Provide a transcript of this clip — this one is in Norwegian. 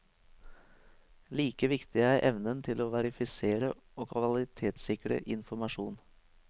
Like viktig er evnen til å verifisere og kvalitetssikre informasjon.